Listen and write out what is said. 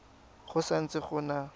go sa ntse go na